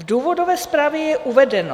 V důvodové zprávě je uvedeno...